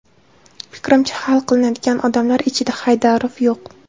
Fikrimcha, hal qiladigan odamlar ichida Haydarov yo‘q.